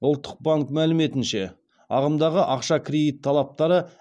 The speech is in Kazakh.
ұлттық банк мәліметінше ағымдағы ақша кредит талаптары